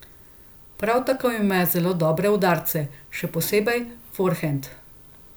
Prav tako ima zelo dobre udarce, še posebej forhend.